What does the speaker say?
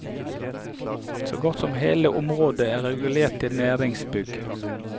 Så godt som hele området er regulert til næringsbygg.